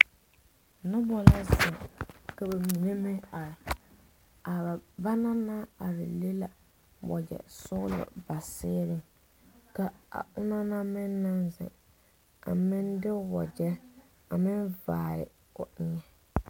Noba la ziŋ ka ba mine meŋ are a banaŋ naŋ are le la wagyɛ sɔglɔ ba seere ka banaŋ meŋ naŋ ziŋ a meŋ de wagyɛ a meŋ vaare o eŋɛ.